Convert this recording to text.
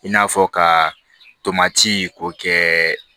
I n'a fɔ ka tomati k'o kɛ